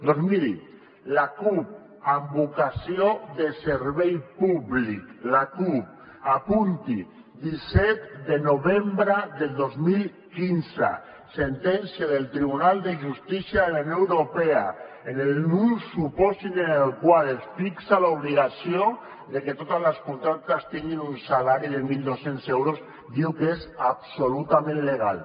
doncs miri la cup amb vocació de servei públic la cup apunti disset de novembre del dos mil quinze sentència del tribunal de justícia de la unió europea en un supòsit en el qual es fixa l’obligació de que totes les contractes tinguin un salari de mil dos cents diu que és absolutament legal